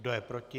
Kdo je proti?